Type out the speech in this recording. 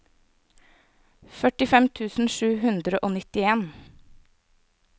førtifem tusen sju hundre og nittien